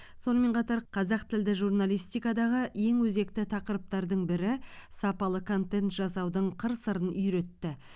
сонымен қатар қазақ тілді журналистикадағы ең өзекті тақырыптардың бірі сапалы контент жасаудың қыр сырын үйретті